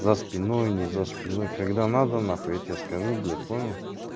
за спиной не за спиной когда надо нахуй я тебе скажу блять понял